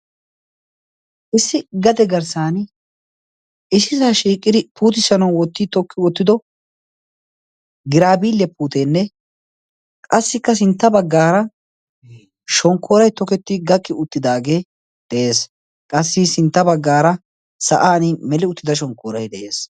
Issi gade garssaan issisaa shiiqidi puutissanawu wotti tookki woottido giraabiliyaa puuteenne qassikka sintta baggaara shonkooraay tokketti uttdagee de"ees. qassikka sintta baggaara sa'an meeli uttida shoonkooray de"ees.